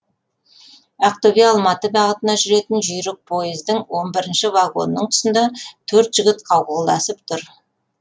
ақтөбе алматы бағытына жүретін жүйрік пойыздың он брірінші вагонының тұсында төрт жігіт қауқылдасып тұр